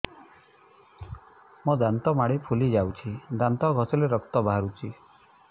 ମୋ ଦାନ୍ତ ମାଢି ଫୁଲି ଯାଉଛି ଦାନ୍ତ ଘଷିଲେ ରକ୍ତ ବାହାରୁଛି